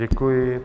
Děkuji.